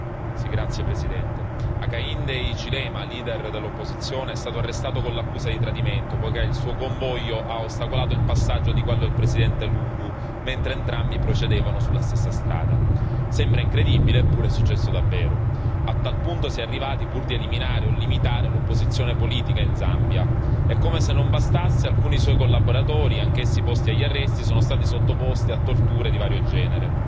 Signor Presidente, onorevoli colleghi, Hakainde Hichilema, leader dell'opposizione, è stato arrestato con l'accusa di tradimento poiché il suo convoglio ha ostacolato il passaggio di quello del Presidente Lungu, mentre entrambi procedevano sulla stessa strada. Sembra incredibile, eppure è successo davvero. A tal punto si è arrivati, pur di eliminare o limitare l'opposizione politica in Zambia e, come se non bastasse, alcuni suoi collaboratori, anch'essi posti agli arresti, sono stati sottoposti a torture di vario genere.